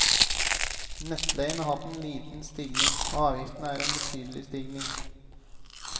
Nettleien har hatt en liten stigning, og avgiftene en betydelig stigning.